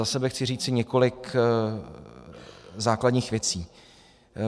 Za sebe chci říci několik základních věcí.